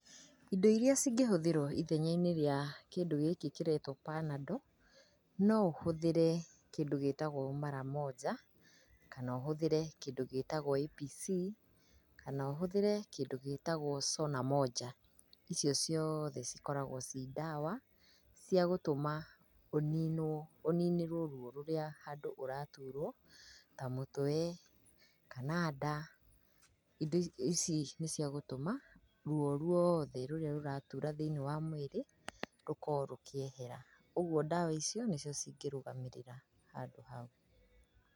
Indo iria cingĩhũthirwo ithenya-inĩ rĩa kĩndũ gĩkĩ kĩretwo panando no ũhũthĩre kĩndũ gĩtagwo mara monja kana ũhũthĩre kĩndũ gĩtagwo APC, kana ũhũthĩre kĩndũ gĩtagwo cona monja. Icio ciothe cikoragwo ci ndawa cia gũtũma ũninĩrwo ruo rũrĩa handũ ũraturwo ta mũtwe kana nda, indo ici nĩ cia gũtũma ruo ruothe rũrĩa rũratura thĩiniĩ wa mwĩrĩ rũkorwo rũkĩehera. Ũguo ndawa icio nĩ cio cingĩrũgamĩrĩra handũ hau.